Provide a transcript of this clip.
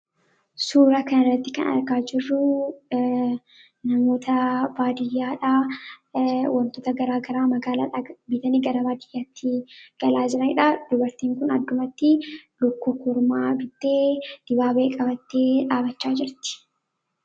suura kanairratti kan argaa jirruu namoota baadiyyaadha wantoota garaa garaa magaalaa irraa bitani gara baadiyyaatti galaajiraiidha dubartiin kun addumatti lukkukormaa bittee dibaabee qabattee dhaabachaa jirti